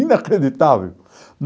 Inacreditável.